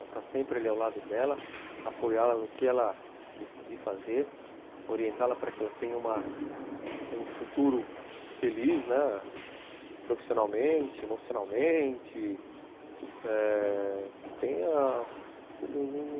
Está sempre ali ao lado dela, apoiá-la no que ela decidir fazer, orientá-la para que ela tenha uma um futuro feliz, né, profissionalmente, emocionalmente, eh... que tenha um...